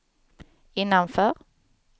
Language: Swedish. innanför